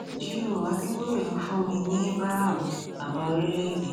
g ó adébòye ló fún mi ní abraham bàbá orílẹèdè